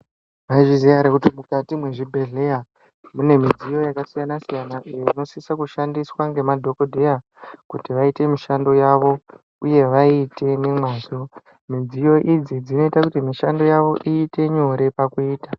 Mwaizviziya ere kuti mukati mwezvibhedhleya mune midziyo yakasiyana-siyana iyo inosiso kushandiswa nemadhogodheya. Kuti vaite mishando yavo uye vaiite nemwazvo, midziyo idzi dzinoita kuti mishando yavo iite nyore pakuita.